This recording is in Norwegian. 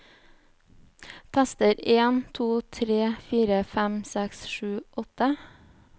Tester en to tre fire fem seks sju åtte